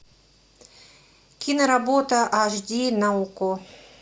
киноработа аш ди на окко